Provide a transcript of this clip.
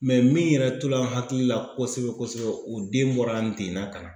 min yɛrɛ tora n hakili la kosɛbɛ kosɛbɛ o den bɔra Ndena ka na.